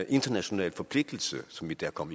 international forpligtelse som vi kom